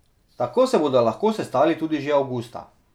Tako se bodo lahko sestali tudi že avgusta.